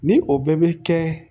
Ni o bɛɛ bɛ kɛ